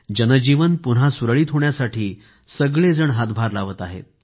जनजीवन पुन्हा सुरळीत होण्यासाठी सगळेजण हातभार लावत आहेत